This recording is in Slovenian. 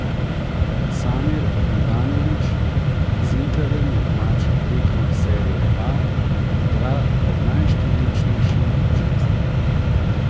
Samir Handanović z Interjem na domačih tekmah serie A igra pred najštevilčnejšim občinstvom.